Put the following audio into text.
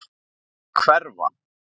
Að hverfa.